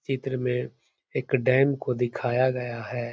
चित्र में एक डैम को दिखाया गया है।